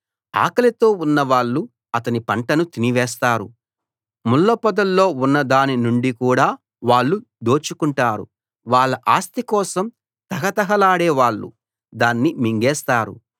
ఆకలితో ఉన్నవాళ్ళు అతని పంటను తినివేస్తారు ముళ్ళ పొదల్లో ఉన్నదాని నుండి కూడా వాళ్ళు దోచుకుంటారు వాళ్ళ ఆస్తి కోసం తహతహలాడే వాళ్ళు దాన్ని మింగేస్తారు